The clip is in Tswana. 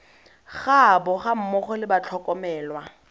gaabo ga mmogo le batlhokomelwa